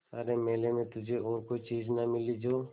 सारे मेले में तुझे और कोई चीज़ न मिली जो